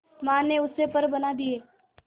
मां ने उससे पर बना दिए